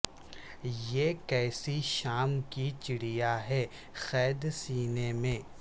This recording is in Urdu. یہ کیسی شام کی چڑیا ہے قید سینے میں